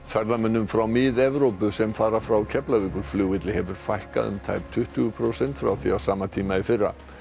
ferðamönnum frá Mið Evrópu sem fara frá Keflavíkurflugvelli hefur fækkað um tæp tuttugu prósent frá því á sama tíma í fyrra